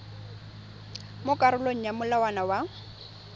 mo karolong ya molawana wa